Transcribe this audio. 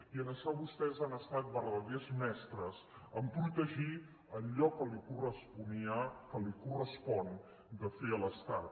i en això vostès han estat vertaders mestres en protegir allò que li corresponia o li correspon de fer a l’estat